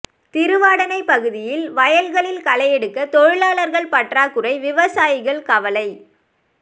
திருவாடானை பகுதியில் வயல்களில் களை எடுக்க தொழிலாளா்கள் பற்றாகுறை விவசாயிககள் கவலை